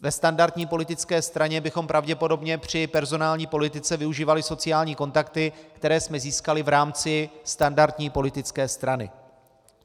Ve standardní politické straně bychom pravděpodobně při personální politice využívali sociální kontakty, které jsme získali v rámci standardní politické strany.